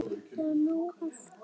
Það er nóg eftir.